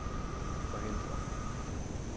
forhindre